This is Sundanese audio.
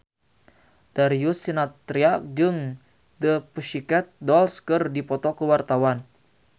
Darius Sinathrya jeung The Pussycat Dolls keur dipoto ku wartawan